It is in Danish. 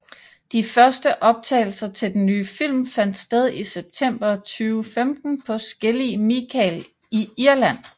De første optagelser til den nye film fandt sted i september 2015 på Skellig Michael i Irland